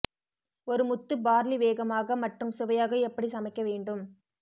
ஒரு முத்து பார்லி வேகமாக மற்றும் சுவையாக எப்படி சமைக்க வேண்டும்